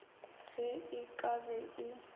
ge e ka be e